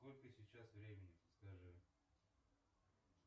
сколько сейчас времени подскажи